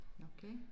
Okay